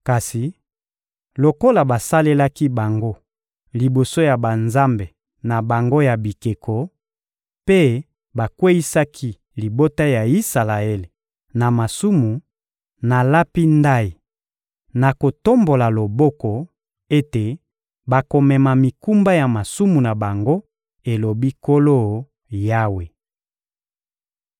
Kasi lokola basalelaki bango liboso ya banzambe na bango ya bikeko mpe bakweyisaki libota ya Isalaele na masumu, nalapi ndayi, na kotombola loboko, ete bakomema mikumba ya masumu na bango, elobi Nkolo Yawe.